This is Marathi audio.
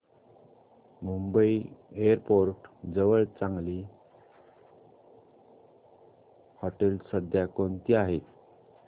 मुंबई एअरपोर्ट जवळ चांगली हॉटेलं सध्या कोणती आहेत